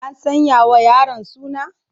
An sanya wa yaron suna?